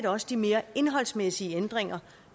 også de mere indholdsmæssige ændringer